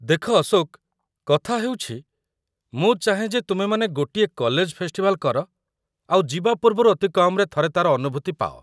ଦେଖ, ଅଶୋକ, କଥା ହେଉଛି, ମୁଁ ଚାହେଁ ଯେ ତୁମେମାନେ ଗୋଟିଏ କଲେଜ ଫେଷ୍ଟିଭାଲ କର ଆଉ ଯିବା ପୂର୍ବରୁ ଅତି କମ୍‌ରେ ଥରେ ତା'ର ଅନୁଭୂତି ପାଅ ।